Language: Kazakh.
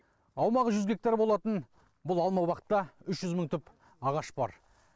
аумағы жүз гектар болатын бұл алмабақта үш жүз мың түп ағаш бар